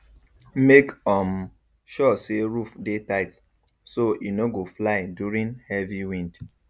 make um sure say roof dey tight so e no go fly during heavy wind